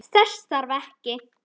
Þess þarf ekki.